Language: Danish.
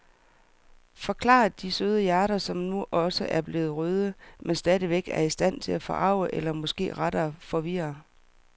Forklarer de søde hjerter, som nu også er blevet røde, men stadigvæk er i stand til at forarge eller måske rettere forvirre.